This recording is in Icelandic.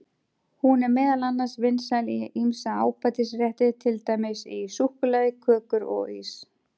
Hún er meðal annars vinsæl í ýmsa ábætisrétti, til dæmis í súkkulaði, kökur og ís.